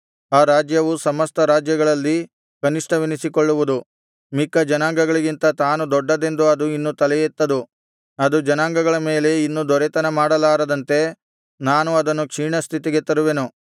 ಆ ರಾಜ್ಯವು ಸಮಸ್ತ ರಾಜ್ಯಗಳಲ್ಲಿ ಕನಿಷ್ಠವೆನಿಸಿಕೊಳ್ಳುವುದು ಮಿಕ್ಕ ಜನಾಂಗಗಳಿಗಿಂತ ತಾನು ದೊಡ್ಡದೆಂದು ಅದು ಇನ್ನು ತಲೆಯೆತ್ತದು ಅದು ಜನಾಂಗಗಳ ಮೇಲೆ ಇನ್ನು ದೊರೆತನ ಮಾಡಲಾರದಂತೆ ನಾನು ಅದನ್ನು ಕ್ಷೀಣ ಸ್ಥಿತಿಗೆ ತರುವೆನು